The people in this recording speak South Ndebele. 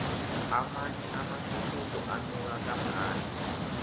amanye amathuthumbo anuka kamnandi